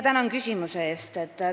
Tänan küsimuse eest!